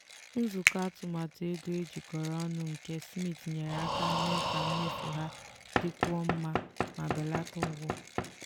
nzukọ atụmatụ ego ejikọrọ ọnụ nke smith nyere aka mee ka mmefu ha dịkwuo mma ma belata ụgwọ.